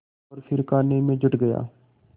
और फिर खाने में जुट गया